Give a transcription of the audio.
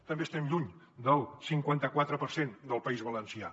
també estem lluny del cinquanta quatre per cent del país valencià